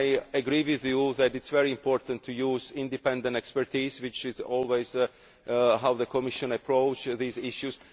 I agree that it is very important to use independent expertise, which is always how the Commission approaches these issues.